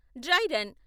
dry run